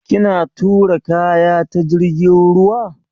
Kina tura kaya ta jirgin ruwa?